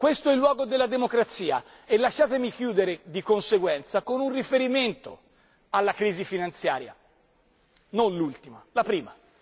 Questo è il luogo della democrazia e lasciatemi chiudere, di conseguenza, con un riferimento alla crisi finanziaria, non l'ultima, la prima.